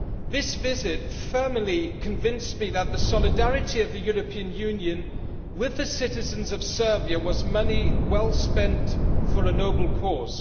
This visit firmly convinced me that the solidarity of the European Union with the citizens of Serbia was money well spent for a noble cause.